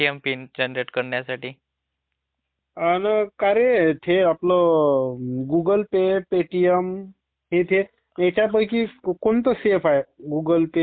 अं का रे ते आपला गुगल पे, पेटीएम ह्यांच्यापैकी कोणता सेफ आहे? गुगल पे, पेटीएम, फोन पे?